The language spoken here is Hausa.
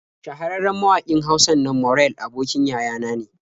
Shahararren mawaƙin Hausan nan Morell abokin yaya na ne.